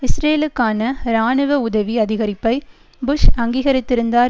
இஸ்ரேலுக்கான இராணுவ உதவி அதிகரிப்பை புஷ் அங்கீகரித்திருந்தார்